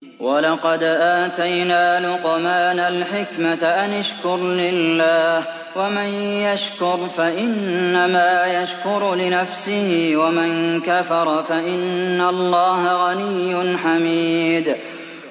وَلَقَدْ آتَيْنَا لُقْمَانَ الْحِكْمَةَ أَنِ اشْكُرْ لِلَّهِ ۚ وَمَن يَشْكُرْ فَإِنَّمَا يَشْكُرُ لِنَفْسِهِ ۖ وَمَن كَفَرَ فَإِنَّ اللَّهَ غَنِيٌّ حَمِيدٌ